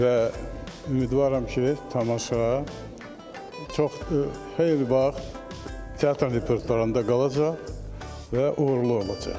Və ümidvaram ki, tamaşa çox xeyli vaxt teatr repertuarında qalacaq və uğurlu olacaq.